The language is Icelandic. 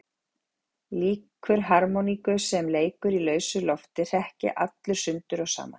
Líkur harmoníku sem leikur í lausu lofti hrekk ég allur sundur og saman.